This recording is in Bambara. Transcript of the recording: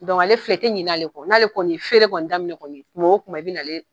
ale filɛ i ti ɲin'ale kɔ, n'ale kɔni ye feere kɔni daminɛ kɔni kuma o kuma i bi n'ale